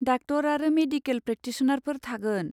Doctor आरो medical प्रेक्टिसनारफोर थागोन।